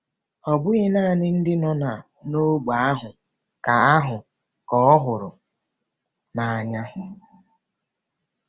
Ọ bụghị naanị ndị nọ n'ógbè ahụ ka ahụ ka ọ hụrụ n'anya.